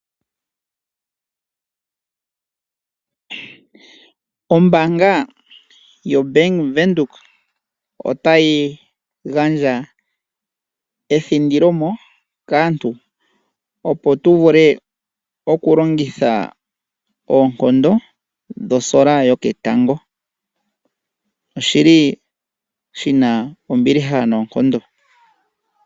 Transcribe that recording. Ombaanga ya Venduka (Bank Windhoek) ota yi gandja ethindilomo kaantu opo tu vule, oku longitha oonkondo dhosola yoketango. Oshili shi na ombiliha noonkondo.